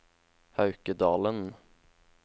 Haukedalen